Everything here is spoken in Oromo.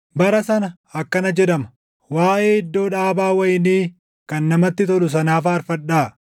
Bara sana akkana jedhama; “Waaʼee iddoo dhaabaa wayinii kan namatti tolu sanaa faarfadhaa;